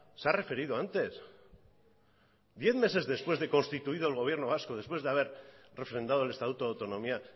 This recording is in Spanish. se ha referido antes diez meses después de constituido el gobierno vasco después de haber refrendado el estatuto de autonomía